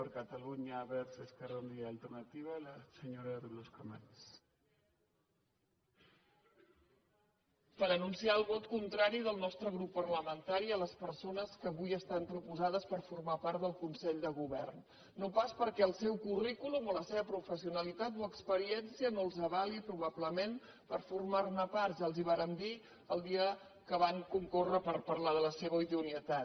per anunciar el vot contrari del nostre grup parlamen·tari a les persones que avui estan proposades per for·mar part del consell de govern no pas perquè el seu currículum o la seva professionalitat o experiència no els avali probablement per formar·ne part ja els ho và·rem dir el dia que van concórrer per parlar de la seva idoneïtat